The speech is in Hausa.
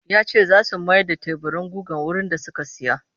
Ya ce za su mayar da teburin gugar wurin da suka saya